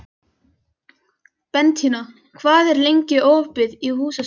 Bentína, hvað er lengi opið í Húsasmiðjunni?